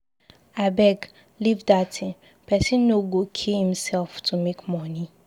Abeg leave dat thing, person no go kill himself to make money.